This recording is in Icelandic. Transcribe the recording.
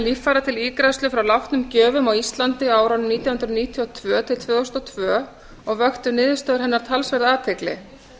líffæra til ígræðslu frá látnum gjöfum á íslandi á árunum nítján hundruð níutíu og tvö til tvö þúsund og tvö og vöktu niðurstöður hennar talsverða athygli